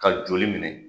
Ka joli minɛ